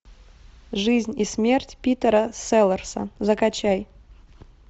жизнь и смерть питера селлерса закачай